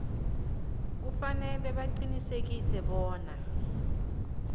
kufanele baqinisekise bona